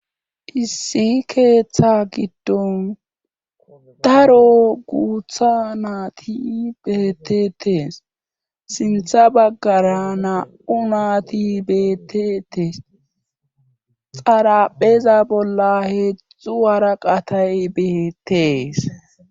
Issi keeththa giddon daro guutha naati betetees sintha baggara naa7u naati betetes xarapheza bolla heedzdzu waraqatay beetees.